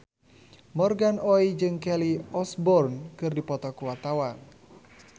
Morgan Oey jeung Kelly Osbourne keur dipoto ku wartawan